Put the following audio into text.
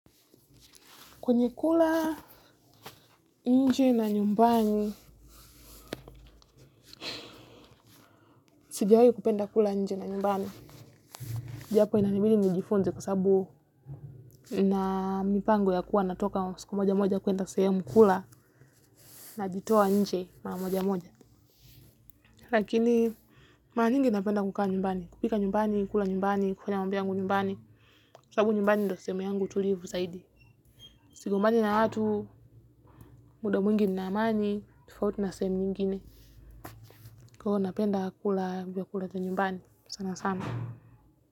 Kwenye kula nje na nyumbani, sijawahi kupenda kula nje ni nyumbani. Japo inanibidi nijifunze kwasababu nina mipango ya kuwa natoka wa siku moja moja kwenda sehemu kula najitoa nje mara moja moja. Lakini, mara nyingi napenda kukaa nyumbani. Kupika nyumbani, kula nyumbani, kufanya mambo yangu nyumbani. Kwasababu nyumbani ndio sehemu yangu tulivu zaidi. Sigombani na watu, muda mwingi nina amani, tofauti na sehemu nyingine. Kwa hivyo napenda kula vyakula vya nyumbani, sana sana.